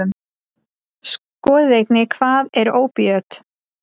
Skoðið einnig: Hvað eru ópíöt?